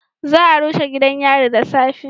Za a rushe gidan yari da safe